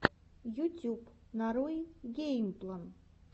ютюб нарой геймплан